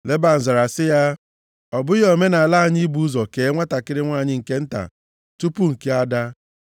Leban zara sị ya, “Ọ bụghị omenaala anyị ibu ụzọ kee nwantakịrị nwanyị nke nta di tupu nke ada.